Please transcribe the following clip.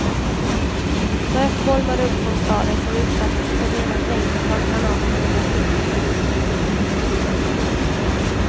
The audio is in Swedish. Rök bolmade upp från staden som utsattes för rena regnet av granater och raketer.